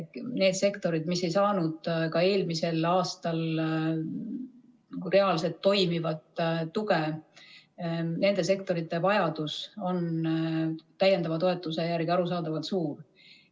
Need sektorid, mis ei saanud ka eelmisel aastal reaalset, toimivat tuge, nende sektorite vajadus täiendava toetuse järele on arusaadavalt suur.